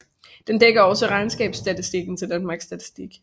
Den dækker også regnskabsstatistikken til Danmarks Statistik